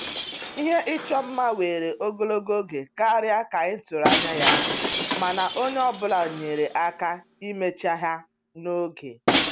Ihe ịchọ mma were ogologo oge karịa ka a tụrụ anya ya, mana onye ọ bụla nyere aka imecha ha n'oge